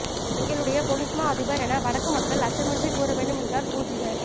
எங்களுடைய பொலிஸ்மா அதிபர் என வடக்கு மக்கள் அச்சமின்றி கூறவேண்டும் என்கிறார் பூஜித